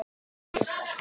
Stjáni skellti